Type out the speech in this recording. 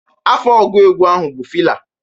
Afa ọgụ egwu a bụ Fịla.